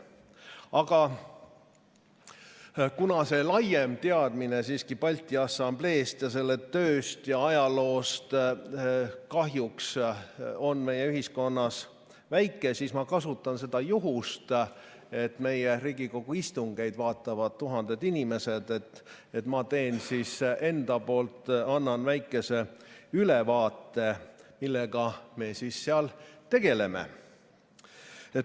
Aga kuna laiem teadmine siiski Balti Assambleest, selle tööst ja ajaloost kahjuks on meie ühiskonnas väike, siis ma kasutan juhust, et meie Riigikogu istungeid vaatavad tuhanded inimesed, ja annan väikese ülevaate, millega me seal tegeleme.